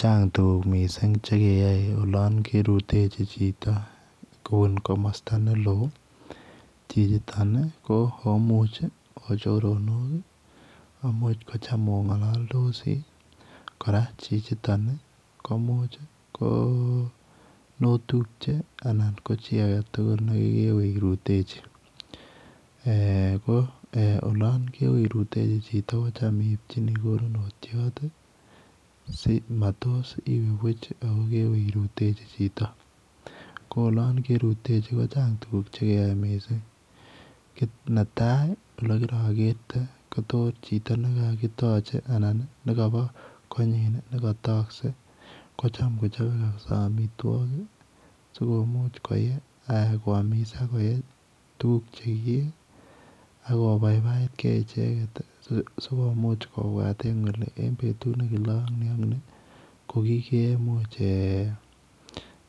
Chang tuguk mising chekeyae en olon kerutechi Chito en kamasta neon chichiton ko komuch kochunda choronok akochame ongalaldosi ako Chichiton komuch konotubche anan kocheyae kokerutechi ko olon kewe irutechi Yu Chito kotam simatos kokewee irutechi Chito koolon kerutechi Chito Chang tuguk cheyai kit netai olikirakete ketache anan nekaba konekatakse kotam kechobe amitwagik sikomuch koyai kwamis akoyai tugukakobaibaigei icheket sikomuch kobwat Kole en betut nekile kokikemwachi Kole